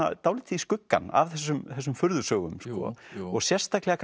dálítið í skuggann af þessum þessum furðusögum og sérstaklega